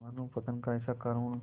मानवपतन का ऐसा करुण